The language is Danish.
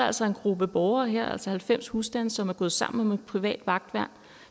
altså en gruppe borgere her altså halvfems husstande som er gået sammen om et privat vagtværn